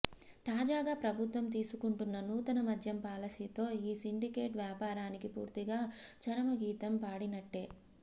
తాజాగా ప్రభుత్వం తీసుకుంటున్న నూతన మద్యం పాలసీతో ఈ సిండికేట్ వ్యాపారానికి పూర్తిగా చరమగీతం పాడినట్లే